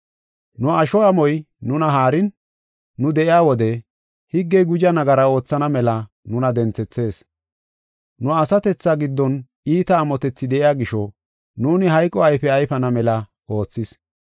Nu asho amoy nuna haarin, nu de7iya wode higgey guji nagara oothana mela nuna denthethees. Nu asatethaa giddon iita amotethi de7iya gisho nuuni hayqo ayfe ayfana mela oothis.